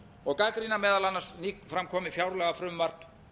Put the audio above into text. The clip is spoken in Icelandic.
og gagnrýna meðal annars nýtt nýframkomið fjárlagafrumvarp